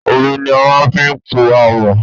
Omi ni a fi ń pò àmọ́.